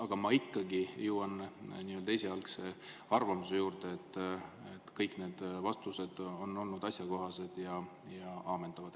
Ent ma ikkagi jään esialgse arvamuse juurde, et kõik need vastused on olnud asjakohased ja ammendavad.